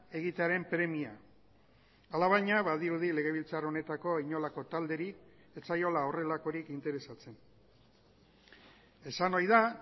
egitearen premia alabaina badirudi legebiltzar honetako inolako talderi ez zaiola horrelakorik interesatzen esan ohi da